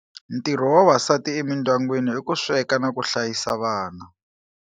Ntirho wa vavasati emindyangwini i ku sweka no hlayisa vana.